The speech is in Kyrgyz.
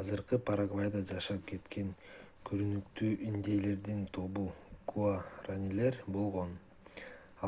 азыркы парагвайда жашап кеткен көрүнүктүү индейлердин тобу гуаранилер болгон